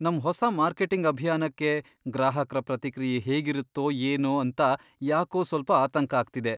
ನಮ್ ಹೊಸ ಮಾರ್ಕೆಟಿಂಗ್ ಅಭಿಯಾನಕ್ಕೆ ಗ್ರಾಹಕ್ರ ಪ್ರತಿಕ್ರಿಯೆ ಹೇಗಿರುತ್ತೋ ಏನೋ ಅಂತ ಯಾಕೋ ಸ್ವಲ್ಪ ಆತಂಕ ಆಗ್ತಿದೆ.